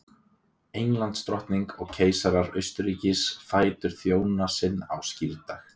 Englandsdrottning og keisarar Austurríkis, fætur þjóna sinna á skírdag.